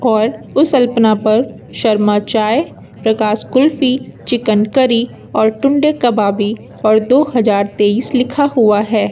और उस अल्पना पर शर्मा चाय प्रकाश कुल्फी चिकन करी और टुंडे कबाबी और दो हजार तेईस लिखा हुआ है।